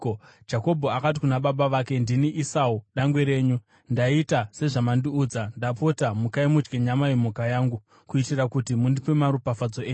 Jakobho akati kuna baba vake, “Ndini Esau dangwe renyu. Ndaita sezvamandiudza. Ndapota, mukai mudye nyama yemhuka yangu kuitira kuti mundipe maropafadzo enyu.”